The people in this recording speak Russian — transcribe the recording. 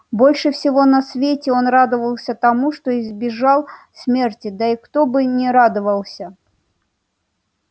больше всего на свете он радовался тому что избежал смерти да и кто бы не радовался